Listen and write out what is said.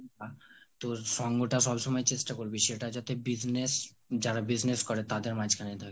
তোর সঙ্গটা সবসময় চেষ্টা করবি সেটা যাতে business, যারা business করে তাদের মাজখানে থাকে